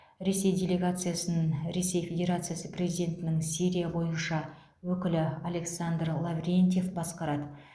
ресей делегациясын ресей федерациясы президентінің сирия бойынша өкілі александр лаврентьев басқарады